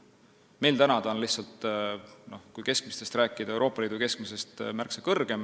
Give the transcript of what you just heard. Meil on see lihtsalt, kui keskmisest rääkida, Euroopa Liidu keskmisest märksa suurem.